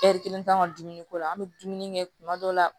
kelen t'an ka dumuni ko la an bɛ dumuni kɛ kuma dɔw la